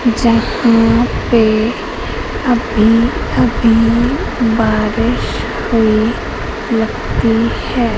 जहां पे अभी अभी बारिश हुई लगती है।